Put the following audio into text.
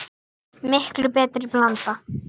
Mikið liggur við!